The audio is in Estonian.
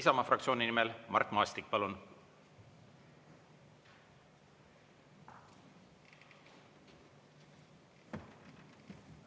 Isamaa fraktsiooni nimel, Mart Maastik, palun!